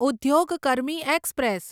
ઉદ્યોગ કર્મી એક્સપ્રેસ